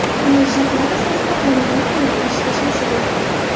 Qulay shartlar asosida xonadon xarid qilishga shoshiling.